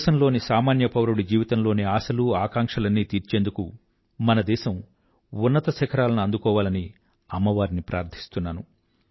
దేశంలోని సామాన్యపౌరుడి జీవితంలోని ఆశలు ఆకాంక్షలన్నీ తీర్చేందుకు మన దేశం ఉన్నత శిఖరాలను అందుకోవాలని అమ్మవారిని ప్రార్థిస్తున్నాను